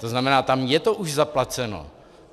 To znamená, tam je to už zaplaceno.